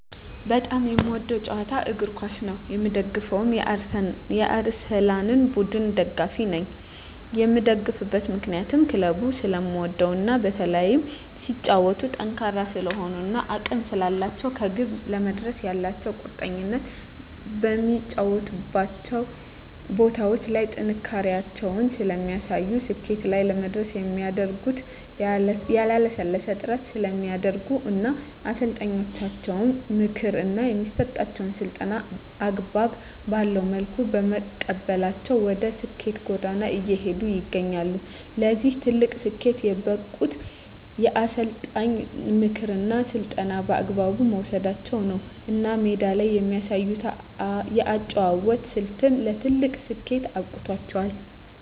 በጣም የምወደዉ ጨዋታ እግርኳስ ነዉ የምደግፈዉም የአርሰላን ቡድን ደጋፊ ነኝ የምደግፍበት ምክንያት ክለቡን ስለምወደዉ እና በተለይም ሲጫወቱም ጠንካራ ስለሆኑ እና አቅም ስላላቸዉ ከግብ ለመድረስ ያላቸዉ ቁርጠኝነት በሚጫወቱባቸዉ ቦታዎች ላይ ጥንካሬያቸውን ስለሚያሳዩ ስኬት ላይ ለመድረስ የሚያደርጉት ያላለሰለሰ ጥረት ስለሚያደርጉ እና የአሰልጣኛቸዉን ምክር እና የሚሰጣቸዉን ስልጠና አግባብ ባለዉ መልኩ በመቀበላቸዉ ወደ ስኬት ጎዳና እየሄዱ ይገኛሉ ለዚህ ትልቅ ስኬት የበቁት የአሰልጣኝን ምክርና ስልጠና በአግባቡ መዉሰዳቸዉ ነዉ እና ሜዳ ላይ የሚያሳዩት የአጨዋወት ስልት ለትልቅ ስኬት አብቅቷቸዋል